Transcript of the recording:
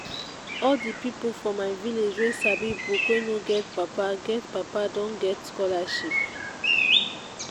all di pipu for my village wey sabi book wey no get papa get papa don get scholarship.